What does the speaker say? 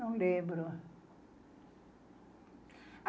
Não lembro.